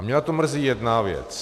A mě na tom mrzí jedna věc.